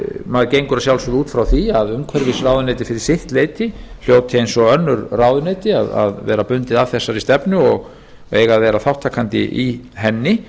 maður gengur að sjálfsögðu út frá því að umhverfisráðuneytið fyrir sitt leyti hljóti eins og önnur ráðuneyti að vera bundið af þessari stefnu og eiga að vera þátttakandi í henni